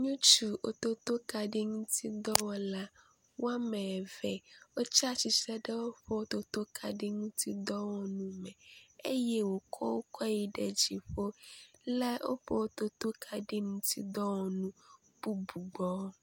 Ŋutsu wototo kaɖi ŋuti dɔwɔla woame eve wotsatsitre ɖe woƒe wototo kaɖi ŋuti dɔwɔnuwo me eye wòkɔ wo kɔ yi ɖe dziƒo le woƒe wototo kaɖi dɔwɔnu bubu gbɔ.